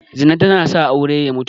Zina tana sa aure ya mutu